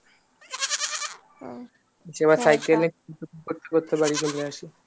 এবার cycling করতে করতে বাড়ি চলে আসি